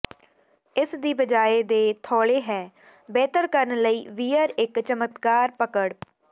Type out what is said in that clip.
ਇਸ ਦੀ ਬਜਾਇ ਦੇ ਥੌਲੇ ਹੈ ਬਿਹਤਰ ਕਰਨ ਲਈ ਵੀਅਰ ਇੱਕ ਚਮਕਦਾਰ ਪਕੜ